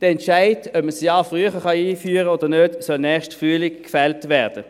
Der Entscheid, ob man es ein Jahr früher einführen kann oder nicht, soll nächsten Frühling gefällt werden.